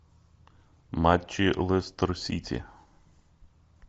матчи лестер сити